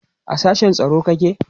a sashen tsaro kake?